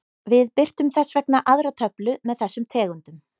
Við birtum þess vegna aðra töflu með þessum tegundum.